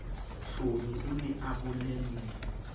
hlomi o ne a bolelle